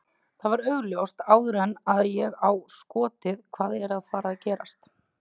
Það var augljóst áður en að ég á skotið hvað er að fara að gerast.